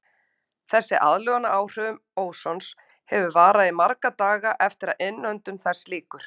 Þessi aðlögun að áhrifum ósons getur varað í marga daga eftir að innöndun þess lýkur.